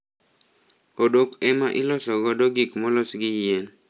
Odok ema iloso godo gik molos gi yien.